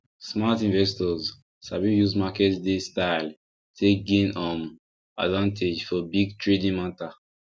smart investors sabi use market day style take gain um advantage for big trading matter